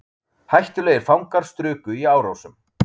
Hættulegir fangar struku í Árósum